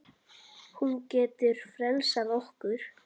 Hún getur frelsað okkur.